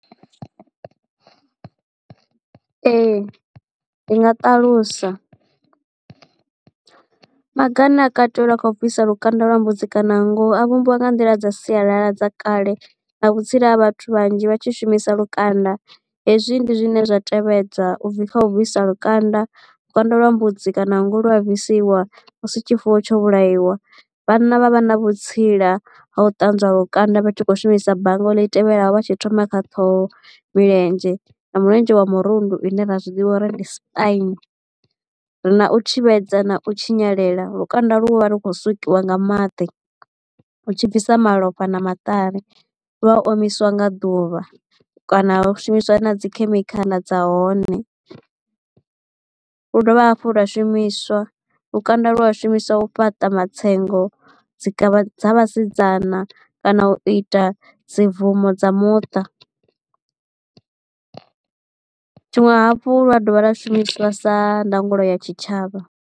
Ee ndi nga ṱalusa maga ane a kateliwa kha bvisa lukanda lwa mbudzi kana nngu a vhumbiwa nga nḓila dza sialala dza kale na vhutsila ha vhathu vhanzhi vha tshi shumisa lukanda hezwi ndi zwine zwa tevhedza kha u bvisa lukanda. Lukanda lwa mbudzi kana nngu lu a bvisiwa musi tshifuwo tsho vhulaiwa. Vhanna vha vha na vhutsila ha u ṱanzwa lukanda vha tshi kho shumisa bannga ḽi tevhelaho vha tshi thoma kha ṱhoho, milenzhe, mulenzhe wa murundu ine ra zwiḓivha uri ndi spine. Ri na u thivhedza na u tshinyalelwa lukanda lu vha lu khou sukisa nga maḓi u tshi bvisa malofha na maṱari lwa omiswa nga ḓuvha kana ha shumiswa na dzi khemikhala dza hone. Lu dovha hafhu lwa shumiswa lukanda lu a shumiswa u fhaṱa matsengo dzi kavha dza vhasidzana kana u ita dzi bvumo dza muṱa tshiṅwe hafhu lu a dovha lwa shumiswa sa ndangulo ya tshitshavha.